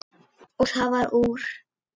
Og það varð úr.